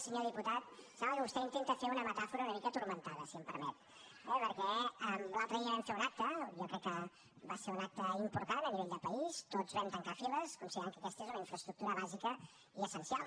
senyor diputat sembla que vostè intenta fer una metàfora una mica turmentada si em permet eh acte i jo crec que va ser un acte important a nivell de país tots vam tancar files considerant que aquesta és una infraestructura bàsica i essencial